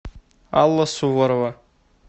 алла суворова